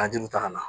A juru ta ka na